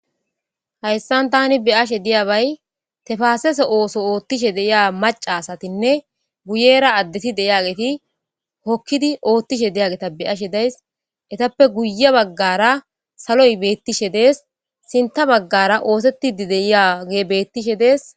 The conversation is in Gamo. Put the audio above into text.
hayssan tani beyashe diyabay tefaasese ooso oothtishe deiya maca asatinne guyera addeti deyageti hokkidi oothtishe deyageta beyashe days etappe guye baggara saloy beettishe dees sinta baggara oosettidi deiya ge bettishe dees